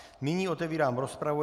Nyní otevírám rozpravu.